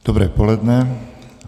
Dobré poledne.